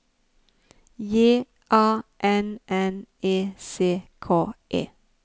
J A N N E C K E